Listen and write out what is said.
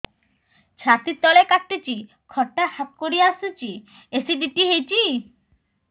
ଛାତି ତଳେ କାଟୁଚି ଖଟା ହାକୁଟି ଆସୁଚି ଏସିଡିଟି ହେଇଚି